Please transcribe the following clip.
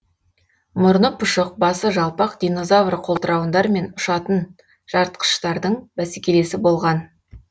мұрны пұшық басы жалпақ динозавр қолтырауындар мен ұшатын жартқыштардың бәсекелесі болған